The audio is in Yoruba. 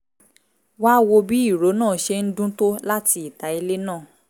wá wo bí ìró náà ṣe ń dún tó láti ìta ilé náà